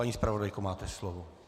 Paní zpravodajko, máte slovo.